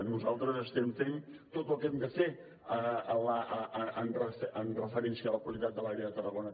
nosaltres estem fent tot el que hem de fer amb referència a la qualitat de l’aire de tarragona